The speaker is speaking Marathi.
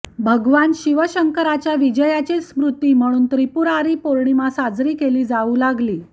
भगवान शिवशंकराच्या विजयाची स्मृती म्हणून त्रिपुरारी पौर्णिमा साजरी केली जाऊ लागली